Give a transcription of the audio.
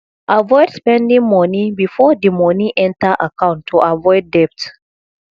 avoid spending moni before di moni enter accont to avoid debt